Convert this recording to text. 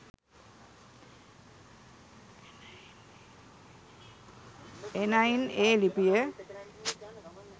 එනයින් ඒ ලිපිය